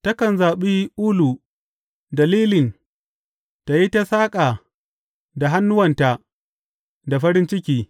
Takan zaɓi ulu da lilin ta yi ta saƙa da hannuwanta da farin ciki.